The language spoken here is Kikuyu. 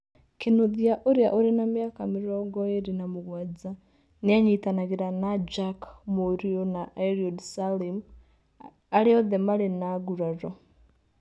Kinũthia, ũrĩa ũrĩ na mĩaka 27 nĩ anyitanagĩra na Jack Mũriu na Eliud Salim, arĩa othe maarĩ na nguraro.